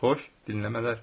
Xoş dinləmələr.